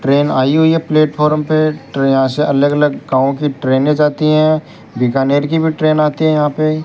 train आई हुई है प्लेटफार्म पे ट्रेन यहां से अलग अलग गांव की ट्रेनें जाती हैं बीकानेर की भी ट्रेन आती है यहां पे --